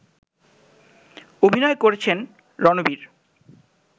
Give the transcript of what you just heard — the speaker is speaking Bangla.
অভিনয় করেছেন রানবির